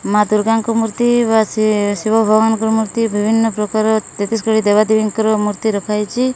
ମା ଦୁର୍ଗାଙ୍କ ମୂର୍ତ୍ତି ବା ସେ ଶିବ ଭଗବାନଙ୍କ ମୂର୍ତ୍ତି ବିଭିନ୍ନ ପ୍ରକାର ତେତିଶ କୋଟି ଦେବାଦେବୀଙ୍କ ର ମୂର୍ତ୍ତି ରଖାଯାଇଚି।